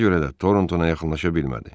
Ona görə də Tortona yaxınlaşa bilmədi.